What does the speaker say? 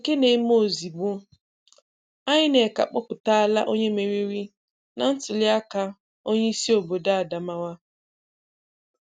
Nke na-eme ozigbo: INEC akpọpụtala onye meriri na ntuliaka Onye-isi Obodo Adamawa